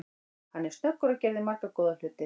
Hann er snöggur og gerði marga góða hluti.